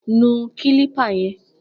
Nu kílípà yẹn!